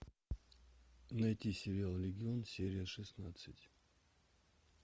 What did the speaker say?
найти сериал легион серия шестнадцать